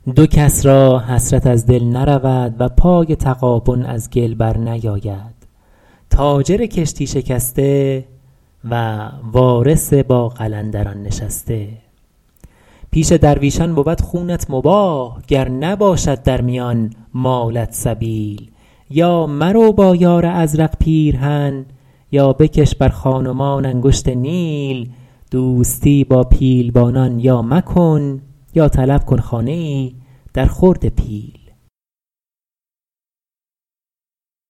دو کس را حسرت از دل نرود و پای تغابن از گل بر نیاید تاجر کشتی شکسته و وارث با قلندران نشسته پیش درویشان بود خونت مباح گر نباشد در میان مالت سبیل یا مرو با یار ازرق پیرهن یا بکش بر خان و مان انگشت نیل دوستی با پیلبانان یا مکن یا طلب کن خانه ای در خورد پیل